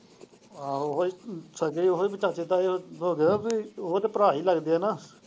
ਆਹੋ ਉਹ ਹੀ ਸਗੇ ਹੋਏ ਚਾਚੇ ਤਾਏ ਉਹ ਹੀ ਤੇ ਭਰਾ ਹੀ ਲੱਗਦੇ ਹੈ ਨਾ।